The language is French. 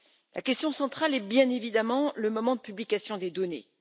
La question centrale est bien évidemment le moment de publication des données.